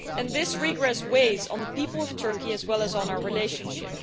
This regress weighs on the people of Turkey as well as on our relationship.